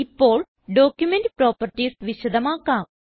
ഇപ്പോൾ document properties വിശദമാക്കാം